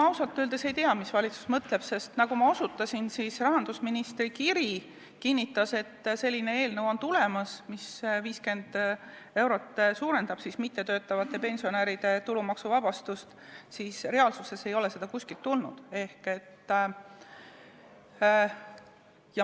Ega ma ausalt öeldes ei tea, mis valitsus mõtleb, sest nagu ma osutasin, rahandusministri kiri kinnitas, et on tulemas selline eelnõu, mis 50 euro võrra suurendab mittetöötavate pensionäride tulumaksuvabastust, kuid reaalsuses ei ole seda kuskilt tulnud.